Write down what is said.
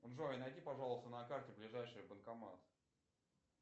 джой найди пожалуйста на карте ближайший банкомат